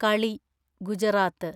കളി - ഗുജറാത്ത്